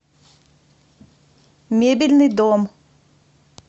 мебельный дом